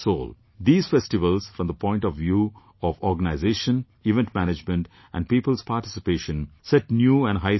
These festivals, from the point of view of organization, event management and people's participation, set new and high standards